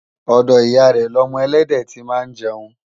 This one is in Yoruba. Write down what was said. ọ̀dọ̀ ìyá rẹ̀ lọmọ ẹlẹ́dẹ̀ tí máa ń jẹun